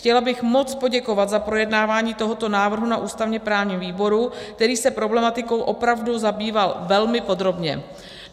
Chtěla bych moc poděkovat za projednávání tohoto návrhu na ústavně-právním výboru, který se problematikou opravdu zabýval velmi podrobně.